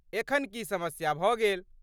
एखन की समस्या भऽ गेल?